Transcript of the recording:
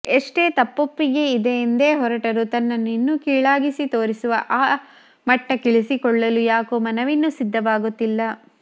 ಎಷ್ಟೆ ತಪ್ಪೊಪ್ಪಿಗೆಯೆಂದೆ ಹೊರಟರೂ ತನ್ನನ್ನು ಇನ್ನೂ ಕೀಳಾಗಿಸಿ ತೋರಿಸುವ ಆ ಮಟ್ಟಕ್ಕಿಳಿಸಿಕೊಳ್ಳಲು ಯಾಕೊ ಮನವಿನ್ನು ಸಿದ್ಧವಾಗುತ್ತಿಲ್ಲ